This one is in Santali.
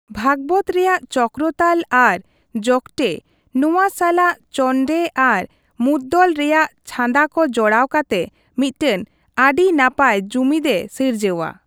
ᱵᱷᱟᱜᱵᱚᱛ ᱨᱮᱭᱟᱜ ᱪᱚᱠᱨᱚᱛᱟᱞ ᱟᱨ ᱡᱚᱜᱽᱴᱮᱼᱱᱚᱣᱟ ᱥᱟᱞᱟᱜ ᱪᱚᱱᱰᱮ ᱟᱨ ᱢᱚᱫᱫᱚᱞ ᱨᱮᱭᱟᱜ ᱪᱷᱟᱸᱫᱟᱠᱚ ᱡᱚᱲᱟᱣ ᱠᱟᱛᱮ ᱢᱤᱫᱴᱟᱝ ᱟᱹᱰᱤ ᱱᱟᱯᱟᱭ ᱡᱩᱢᱤᱫᱮ ᱥᱤᱨᱡᱟᱹᱣᱟ ᱾